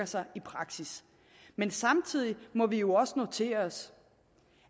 sig i praksis men samtidig må vi jo også notere os